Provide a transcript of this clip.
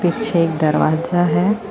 ਪਿਛੇ ਇੱਕ ਦਰਵਾਜਾ ਹੈ।